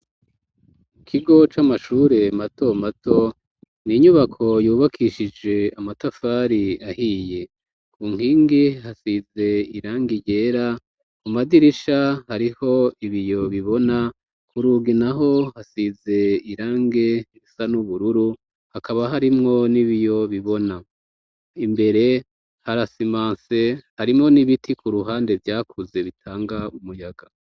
Ikigo c'amashure mato mato n'inyubako yubakishije amatafari ahiye ku nkingi hasize irangi ryera ku madirisha hariho ibiyo bibona kurugi naho hasize irange risa n'ubururu hakaba harimwo n'ibiyo bibona imbere harasimanse harimo n'ibiti ku ruhande vyakuze bitanga umuyaga.